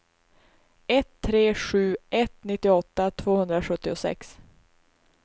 ett tre sju ett nittioåtta tvåhundrasjuttiosex